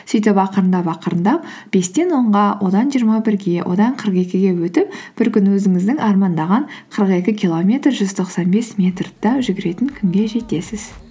сөйтіп ақырындап ақырындап бестен онға одан жиырма бірге одан қырық екіге өтіп бір күні өзіңіздің армандаған қырық екі километр жүз тоқсан бес метрді де жүгіретін күнге жетесіз